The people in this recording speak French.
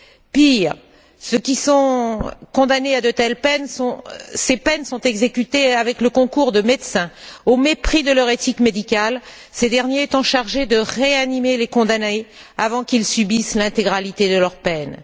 Pire, pour ceux qui sont condamnés à de telles peines, ces peines sont exécutées avec le concours de médecins, au mépris de leur éthique médicale, ces derniers étant chargés de réanimer les condamnés avant qu'ils subissent l'intégralité de leur peine.